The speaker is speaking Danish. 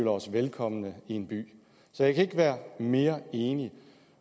os velkomme i en by så jeg kan ikke være mere enig